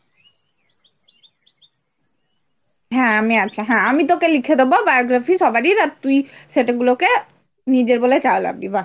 হ্যাঁ আমি আছি হ্যাঁ, আমি তোকে লিখে দেবো biography সবারই আর তুই সেটেগুলকে নিজের বলে চালাবি বাঃ!